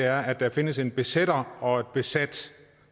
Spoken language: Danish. er at der findes en besætter og et besat